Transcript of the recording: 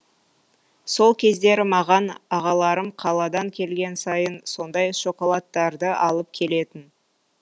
сол кездері маған ағаларым қаладан келген сайын сондай шоколадтарды алып келетін